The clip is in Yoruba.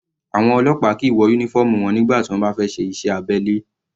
Àwọn ọlọ́pàá kìí wọ uniform wọn nígbà tí wọ́n bá fẹ́ ṣe iṣẹ́ abẹ́lẹ̀.